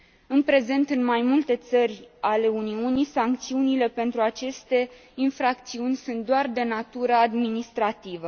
În prezent, în mai multe țări ale Uniunii, sancțiunile pentru aceste infracțiuni sunt doar de natură administrativă.